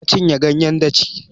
Na cinye ganyen daci